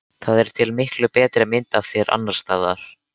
Það er til miklu betri mynd af þér annars staðar.